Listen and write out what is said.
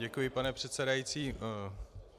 Děkuji, pane předsedající.